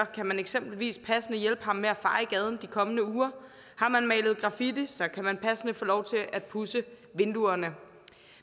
kan man eksempelvis passende hjælpe ham med at feje gaden de kommende uger og har man malet graffiti kan man passende få lov til at pudse vinduerne